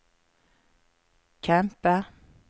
kjempe